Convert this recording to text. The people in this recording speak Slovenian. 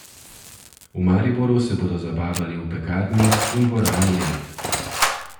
V Mariboru se bodo zabavali v Pekarni in dvorani Lent.